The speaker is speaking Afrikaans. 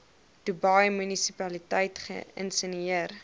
dubai munisipaliteit geïnisieer